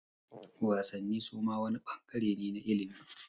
Wasanni suma wani ɓangare ne na ilimi